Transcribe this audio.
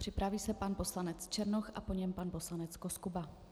Připraví se pan poslanec Černoch a po něm pan poslanec Koskuba.